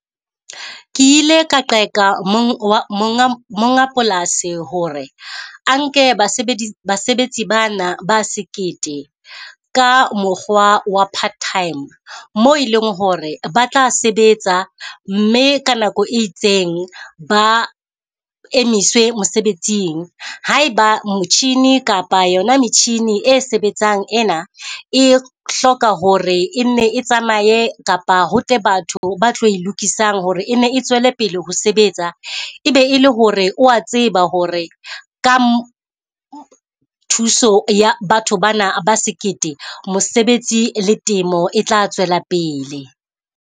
Ke ile ka qeka monga, monga polasi hore a nke basebedi basebetsi bana ba sekete ka mokgwa wa part time. Mo e leng hore ba tla sebetsa mme ka nako e itseng ba emiswe mosebetsing. Ha e ba motjhini kapa yona metjhini e sebetsang ena, e hloka hore e nne e tsamaye kapa ho tle batho ba tlo e lokisang hore e nne e tswele pele ho sebetsa. E be e le hore o wa tseba hore ka thuso ya batho bana ba sekete mosebetsi le temo e tla tswela pele.